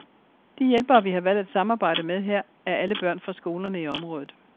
De hjælpere, vi har valgt at samarbejde med her, er alle børn fra skolerne i området.